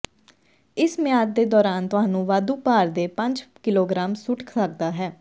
ਇਸ ਮਿਆਦ ਦੇ ਦੌਰਾਨ ਤੁਹਾਨੂੰ ਵਾਧੂ ਭਾਰ ਦੇ ਪੰਜ ਕਿਲੋਗ੍ਰਾਮ ਸੁੱਟ ਸਕਦਾ ਹੈ